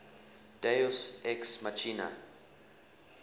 deus ex machina